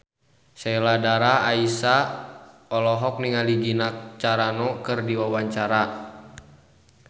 Sheila Dara Aisha olohok ningali Gina Carano keur diwawancara